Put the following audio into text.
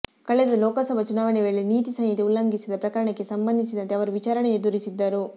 ಕಳೆದ ಲೋಕಸಭಾ ಚುನಾವಣೆ ವೇಳೆ ನೀತಿ ಸಂಹಿತೆ ಉಲ್ಲಂಘಿಸಿದ ಪ್ರಕರಣಕ್ಕೆ ಸಂಬಂಧಿಸಿದಂತೆ ಅವರು ವಿಚಾರಣೆ ಎದುರಿಸಿದ್ದರು